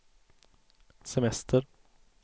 semester